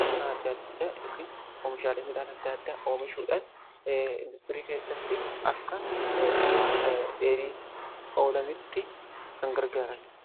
qonna adda addaa yookiin oomishaalee midhaan adda addaa oomishuudhan indaastirii keessatti akka mi'a dheedhiitti ooluuf kan gargaaraniidha.